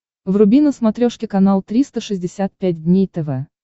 вруби на смотрешке канал триста шестьдесят пять дней тв